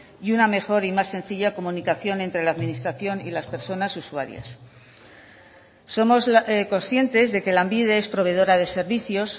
y una mejor y más sencilla comunicación entre la administración y las personas usuarias somos conscientes de que lanbide es proveedora de servicios